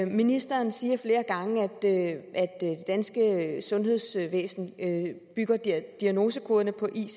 ministeren siger flere gange at det danske sundhedsvæsen bygger diagnosekoderne på icd